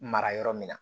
Mara yɔrɔ min na